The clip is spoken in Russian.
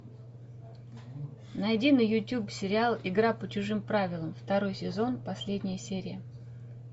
найди на ютубе сериал игра по чужим правилам второй сезон последняя серия